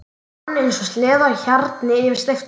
Dúkurinn rann eins og sleði á hjarni yfir steypt gólfið.